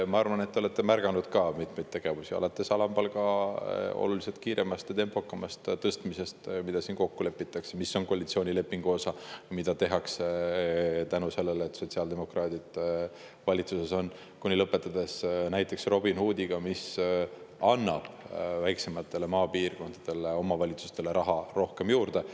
Ma arvan, et te olete märganud mitmeid tegevusi, alates alampalga oluliselt kiiremast, tempokamast tõstmisest, mis kokku lepitakse, mis on koalitsioonilepingu osa, mida tehakse tänu sellele, et sotsiaaldemokraadid valitsuses on, ja lõpetades näiteks Robin Hoodi seadusega, mis annab maapiirkondadele, väiksematele omavalitsustele raha rohkem juurde.